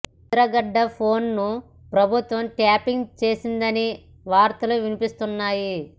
Mudragada phone ను ప్రభుత్వం tapping చేసిందని వార్తలు వినిపిస్తున్నాయి